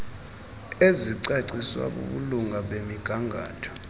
ezicaciswa bubulunga bemigangatho